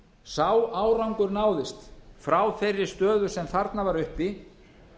sá árangur náðist frá þeirri stöðu sem þarna var uppi